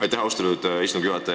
Aitäh, austatud istungi juhataja!